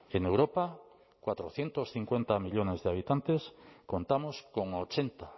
en europa cuatrocientos cincuenta millónes de habitantes contamos con ochenta